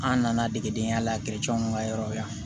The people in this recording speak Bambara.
An nana degedenya la an ka yɔrɔ yan